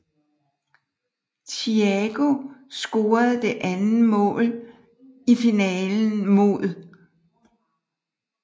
Thiago scorede det andet mål i finalen mod